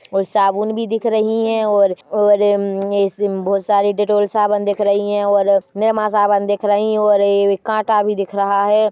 और साबुन भी दिख रही है और-और उम्म्म्म इस उम बहुत सारी डेटॉल साबुन दिख रही है और निरमा साबुन दिख रहे है और ऐ काटा भी दिख रहा है।